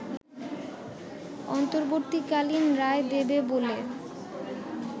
অন্তর্বর্তীকালীন রায় দেবে বলে